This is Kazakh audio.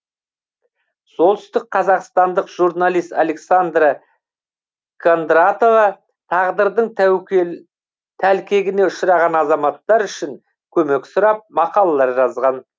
солтүстікқазақстандық журналист александра кондратова тағдырдың тәлкегіне ұшыраған азаматтар үшін көмек сұрап мақалалар жазған